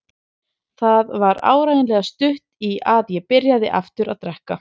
Það var áreiðanlega stutt í að ég byrjaði aftur að drekka.